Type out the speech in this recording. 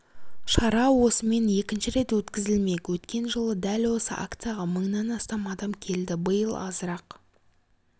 шара осымен екінші рет өткізілмек өткен жылы дәл осы акцияға мыңнан астам адам келді биыл азырақ